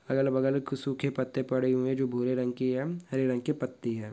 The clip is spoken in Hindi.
अगल-बगल कुछ सूखे पत्ते पड़े हुए हैं जो भूरे रंग की है हरे रंग की पत्ति है।